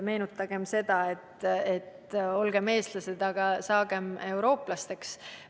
Meenutagem kas või üleskutset "Olgem eestlased, aga saagem ka eurooplasteks!".